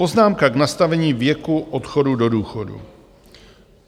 Poznámka k nastavení věku odchodu do důchodu.